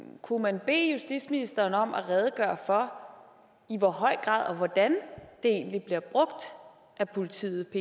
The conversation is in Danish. kunne man bede justitsministeren om at redegøre for i hvor høj grad og hvordan det egentlig bliver brugt af politiet og